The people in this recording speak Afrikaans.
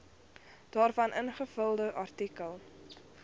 daarvan ingevolge artikel